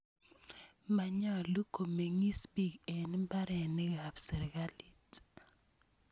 Manyolu komeng'is piik eng' mbarenik ap sirikalit.